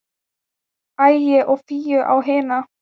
Ægi og Fíu á hina.